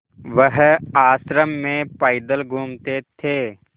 वह आश्रम में पैदल घूमते थे